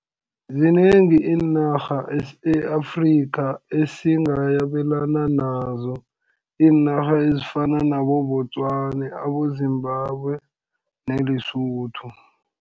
Zinengi iinarha e-Afrika esingabelana nazo, iinarha ezifana nabo-Botswana, abo-Zimbabwe, ne-Lesotho.